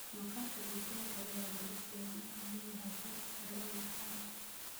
Maqaarka digaaga ayaa la og yahay inuu leeyahay heer sare oo dufan ah.